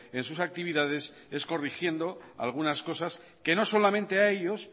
en sus actividades es corrigiendo algunas cosas que no solamente a ellos